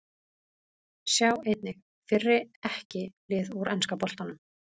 Sjá einnig: Fyrri EKKI lið úr enska boltanum